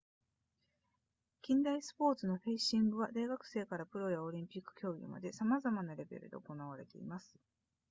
近代スポーツのフェンシングは大学生からプロやオリンピック競技までさまざまなレベルで行われています